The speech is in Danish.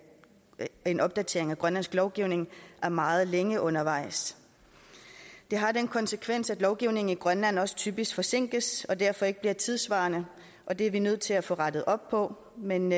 en opdatering af grønlandsk lovgivning er meget længe undervejs det har den konsekvens at lovgivningen i grønland også typisk forsinkes og derfor ikke bliver tidssvarende og det er vi nødt til at få rettet op på men